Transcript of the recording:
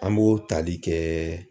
An b'o tali kɛ